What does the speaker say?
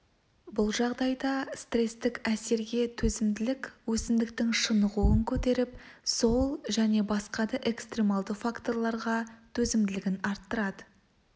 бұл жағдайда стрестік әсерге төзімділік өсімдіктің шынығуын көтеріп сол және басқа да экстремальды факторларға төзімділігін арттырады